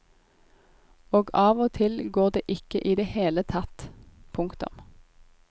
Og av og til går det ikke i det hele tatt. punktum